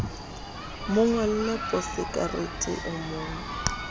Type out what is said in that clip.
mo ngolle posekarete o mo